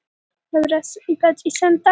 Hreindýraveiðar fara vel af stað